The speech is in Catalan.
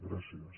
gràcies